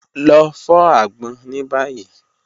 Lọ fọ agbon ni bayi.